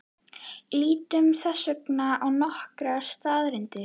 Lítum þess vegna á nokkrar staðreyndir.